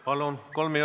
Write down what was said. Palun!